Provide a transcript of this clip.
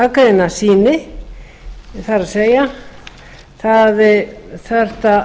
aðgreina sýni það er það þurfti